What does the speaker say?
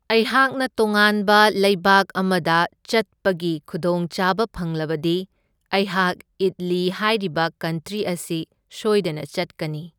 ꯑꯩꯍꯥꯛꯅ ꯇꯣꯉꯥꯟꯕ ꯂꯩꯕꯥꯛ ꯑꯃꯗ ꯆꯠꯄꯒꯤ ꯈꯨꯗꯣꯡꯆꯥꯕ ꯐꯪꯂꯕꯗꯤ ꯑꯩꯍꯥꯛ ꯏꯠꯂꯤ ꯍꯥꯏꯔꯤꯕ ꯀꯟꯇ꯭ꯔꯤ ꯑꯁꯤ ꯁꯣꯏꯗꯅ ꯆꯠꯀꯅꯤ꯫